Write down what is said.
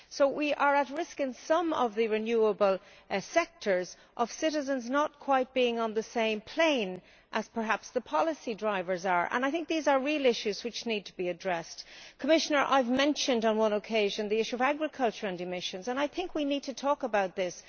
So we are at risk in some of the renewable sectors of citizens not quite being on the same plane as perhaps the policy drivers are, and I think these are real issues which need to be addressed. I would like to say to the Commissioner that I mentioned on one occasion the issue of agriculture and emissions and, Commissioner, I think we need to talk about this.